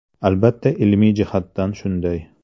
Albatta ilmiy jihatdan shunday.